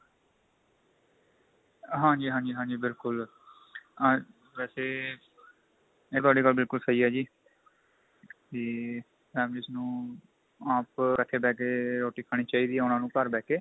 ਹਾਂਜੀ ਹਾਂਜੀ ਹਾਂਜੀ ਬਿਲਕੁਲ ਆ ਵੈਸੇ ਇਹ ਤੁਹਾਡੀ ਗੱਲ ਬਿਲਕੁਲ ਸਹੀ ਏ ਜੀ ਤੇ families ਨੂੰ ਆਪ ਇਕੱਠੇ ਬੈ ਕੇ ਰੋਟੀ ਖਾਣੀ ਚਾਹੀਦੀ ਹੈ ਉਹਨਾ ਨੂੰ ਘਰ ਬੈ ਕੇ